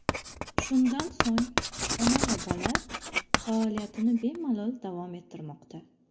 Shundan so‘ng ona va bola faoliyatini bemalol davom ettirmoqda.